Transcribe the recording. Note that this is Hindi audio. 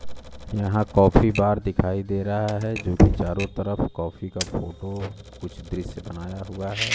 यहां काफी बार दिखाई दे रहा है जो कि चारों तरफ कॉफी का फोटो कुछ दृश्य बनाया हुआ है।